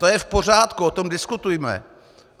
To je v pořádku, o tom diskutujme.